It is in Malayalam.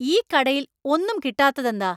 ഈ കടയിൽ ഒന്നും കിട്ടാത്തതെന്താ?